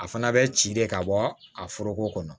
A fana bɛ ci de ka bɔ a foroko kɔnɔ